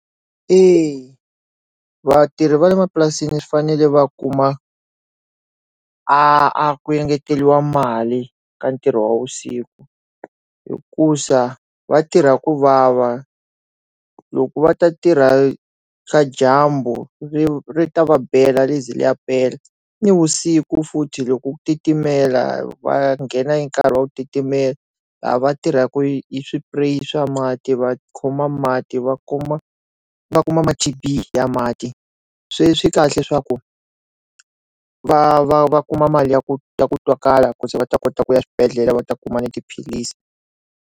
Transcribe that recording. Eya vatirhi vale mapurasini swi fanele va kuma a ku engeteriwa mali ka ntirho wa vusiku hikusa vatirha ku vava loko va ta tirha swa dyambu ri ri ta va bela ri ze ri ya pela ni vusiku futhi loko ku titimela va nghena nkarhi wu titimela laha va tirhaka hi swipurayi swa mati va khoma mati va kuma va kuma mati ya mati swi swikahle leswaku va va va kuma mali ya ku ya ku twakalaka kumbe va ta kota ku ya swibedhlele va ta kuma na tiphilisi